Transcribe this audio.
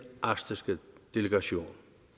arktiske delegation